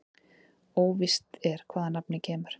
Óvíst er hvaðan nafnið kemur.